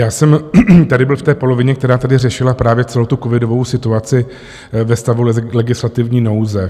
Já jsem tady byl v té polovině, která tady řešila právě celou tu covidovou situaci ve stavu legislativní nouze.